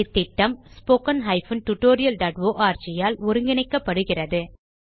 இந்த திட்டம் httpspoken tutorialorg ஆல் ஒருங்கிணைக்கப்படுகிறது